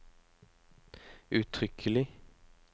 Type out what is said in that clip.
uttrykkelig